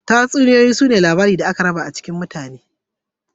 Tatsuniyoyi sune da aka raba su cikin sigar magana.